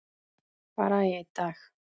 Bara í einn dag.